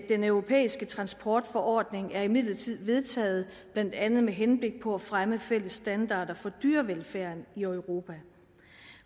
den europæiske transportforordning er imidlertid vedtaget blandt andet med henblik på at fremme fælles standarder for dyrevelfærden i europa